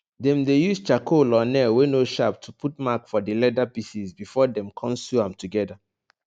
dem dey use charcoal or nail wey no sharp to put mark for di leather pieces before dem con sew am together